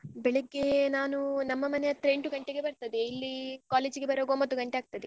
ಬೆಳಿಗ್ಗೆ ನಾನು ನಮ್ಮ ಮನೆ ಹತ್ರ ಎಂಟು ಗಂಟೆಗೆ ಬರ್ತದೇ ಇಲ್ಲಿ college ಗೆ ಬರುವಾಗ ಒಂಬತ್ತು ಗಂಟೆ ಆಗ್ತದೆ.